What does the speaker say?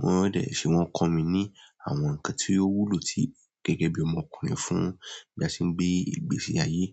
wọ́n dẹ̀ ṣe, wọ́n kọ́ mi ní àwọn nǹkan tí ó wúlò tí gẹ́gẹ́ bí ọmọkùnrin fún bí a ṣe ń gbé ìgbésí ayé.